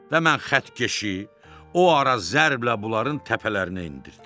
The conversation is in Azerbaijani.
Və mən xəttkeşi o ara zərblə bunların təpələrinə endirdim.